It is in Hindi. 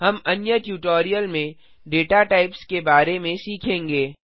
हम अन्य ट्यूटोरियल में दाता typesडेटा के प्रकार के बारे में सीखेंगे